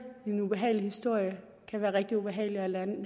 en ubehagelig historie kan være rigtig ubehagelig at